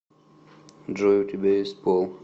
джой у тебя есть пол